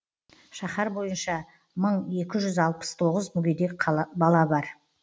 шаһар бойынша мың екі жүз алпыс тоғыз мүгедек бала бар